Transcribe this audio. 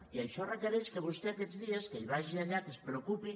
i això requereix que vostè aquests dies vagi allà que se’n preocupi